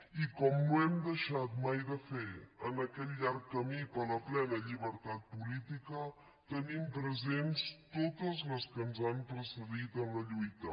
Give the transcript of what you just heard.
i com no hem deixat mai de fer en aquest llarg camí per la plena llibertat política tenim presents totes les que ens han precedit en la lluita